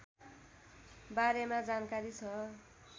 बारेमा जानकारी छ